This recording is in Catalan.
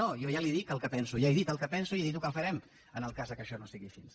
no jo ja li dic el que penso ja he dit el que penso i ja he dit el que farem en el cas que això no sigui així